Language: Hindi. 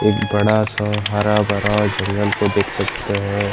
एक बड़ा सा हरा भरा जंगल को देख सकते है |